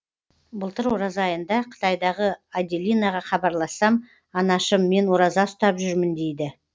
былтыр ораза айында қытайдағы аделинаға хабарлассам анашым мен ораза ұстап жүрмін дейді